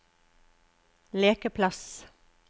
lekeplass